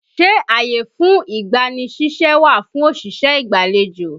Ṣé ààyè fún ìgbani ṣíṣẹ́ wà fún òṣìṣẹ́ ìgbàlejò?